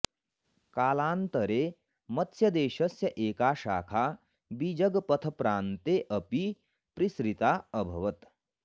कालान्तरे मत्स्यदेशस्य एका शाखा विजगपथप्रान्ते अपि पृसृता अभवत्